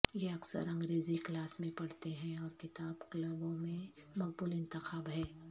یہ اکثر انگریزی کلاس میں پڑھتے ہیں اور کتاب کلبوں میں مقبول انتخاب ہے